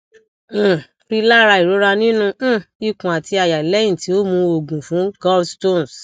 um rilara irora ninu um ikun ati àyà lẹhin ti o mu oogun fun gallstones